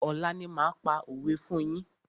Ọ̀la ni máa pa òwé fún yín.